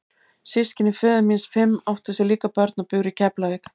Systkini föður míns fimm áttu sér líka börn og buru í Keflavík.